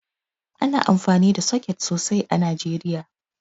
Ana amfani da soket sosai a Najeriya